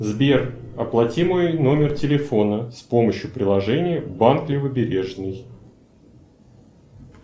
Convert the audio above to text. сбер оплати мой номер телефона с помощью приложения банк левобережный